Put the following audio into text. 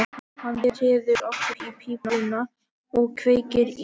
Hann treður aftur í pípuna og kveikir í.